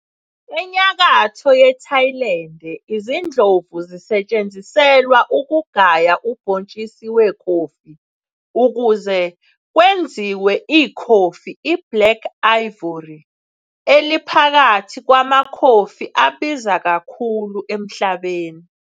Enyakatho yeThailande, izindlovu zisetshenziselwa ukugaya ubhontshisi wekhofi ukuze kwenziwe ikhofi iBlack Ivory, eliphakathi kwamakhofi abiza kakhulu emhlabeni.